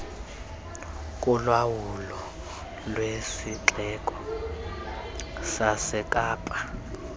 kolawulo lwesixeko sasekapa